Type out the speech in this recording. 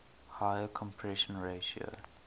higher compression ratio